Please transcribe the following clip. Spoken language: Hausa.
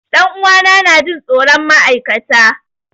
Ɗan uwa na na Jin tsoron ma'aikata.